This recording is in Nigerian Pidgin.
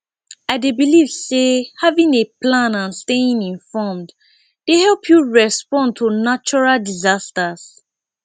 i dey believe say having a plan and staying informed dey help you respond to natural disasters